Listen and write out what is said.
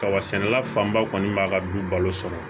Kaba sɛnɛ fanba kɔni b'a ka du balo sɔrɔ